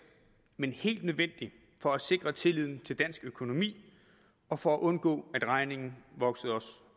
men helt nødvendigt for at sikre tilliden til dansk økonomi og for at undgå at regningen voksede os